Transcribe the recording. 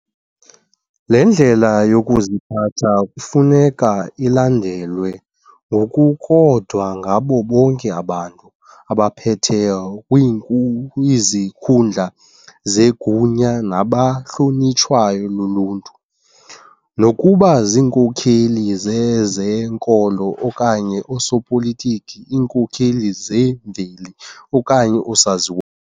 Le ndlela yokuziphatha kufuneka ilandelwe ngokukodwa ngabo bonke abantu abaphetheyo kwiinku kwizikhundla zegunya nabahlonitshwayo luluntu, nokuba zinkokeli zezenkolo okanye oosopolitiki, iinkokeli zemveli okanye oosaziwa.